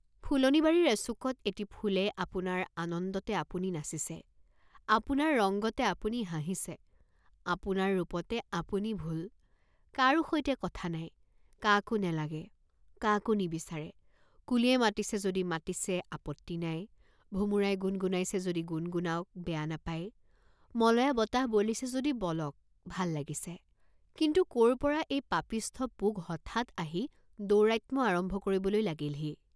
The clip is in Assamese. ফুলনি বাৰীৰ এচুকত এটি ফুলে আপোনাৰ আনন্দতে আপুনি নাচিছে, আপোনাৰ ৰংগতে আপুনি হাঁহিছে, আপোনাৰ ৰূপতে আপুনি ভোল, কাৰো সৈতে কথা নাই, কাকো নেলাগে, কাকো নিবিচাৰে, কুলিয়ে মাতিছে যদি মাতিছে, আপত্তি নাই, ভোমোৰাই গুণ গুণাইছে যদি গুণগুণাওক, বেয়া নাপায়, মলয়া বতাহ বলিছে যদি বলক, ভাল লাগিছে, কিন্তু ক'ৰপৰা এই পাপিষ্ঠ পোক হঠাৎ আহি দৌৰাত্ম্য আৰম্ভ কৰিবলৈ লাগিলহি?